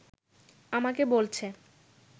আমাকে বলছে